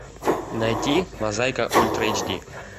найти мозаика ультра эйч ди